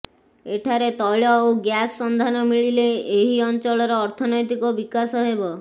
ଏଠାରେ ତୈଳ ଓ ଗ୍ୟାସ୍ର ସନ୍ଧାନ ମିଳିଲେ ଏହି ଅଞ୍ଚଳର ଅର୍ଥନୈତିକ ବିକାଶ ହେବ